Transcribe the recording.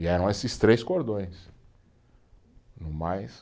E eram esses três cordões, mas